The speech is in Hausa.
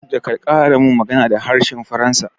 Kada ka ƙara min magana da harshen faransa